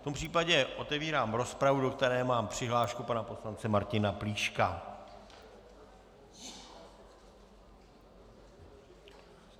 V tom případě otevírám rozpravu, do které mám přihlášku pana poslance Martina Plíška.